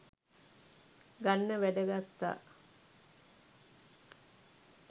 ගන්න වැඩ ගත්තා